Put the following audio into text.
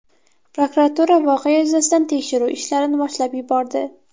Prokuratura voqea yuzasidan tekshiruv ishlarini boshlab yubordi.